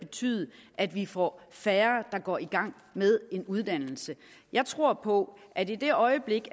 betyde at vi får færre der går i gang med en uddannelse jeg tror på at i det øjeblik